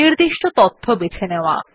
নির্দিষ্ট তথ্য বেছে নেওয়া